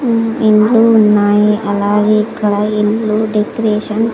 ఇండ్లు ఉన్నాయి అలాగే ఇక్కడ ఇల్లు డెకరేషన్ .